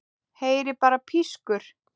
Heyri bara pískur.